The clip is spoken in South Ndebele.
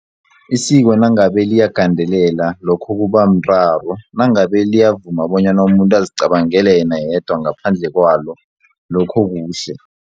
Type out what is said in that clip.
Isiko nangabe liyagandelela lokho kubamraro nangabe liyavuma bonyana umuntu azicabangele yena yedwa ngaphandle kwalo lokho kuhle.